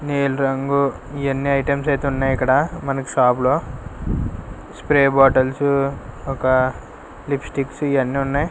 నీలి రంగు ఇవి అన్నీ ఐటమ్స్ అయితే ఉన్నాయి ఇక్కడ మనకి షాప్ లో స్ప్రే బాటిల్స్ ఒక లిప్ స్టిక్స్ ఇవి అన్నీ ఉన్నాయ్.